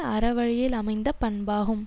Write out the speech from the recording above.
அறவழியில் அமைந்த பண்பாகும்